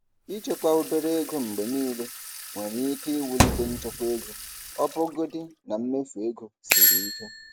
Ịchekwa obere ego mgbe niile nwere ike iwulite nchekwa ego ọbụgodi na mmefu ego siri ike.